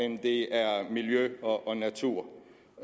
end det er miljø og natur